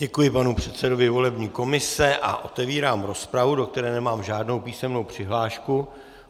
Děkuji panu předsedovi volební komise a otevírám rozpravu, do které nemám žádnou písemnou přihlášku.